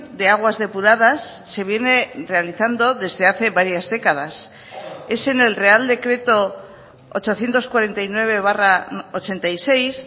de aguas depuradas se viene realizando desde hace varias décadas es en el real decreto ochocientos cuarenta y nueve barra ochenta y seis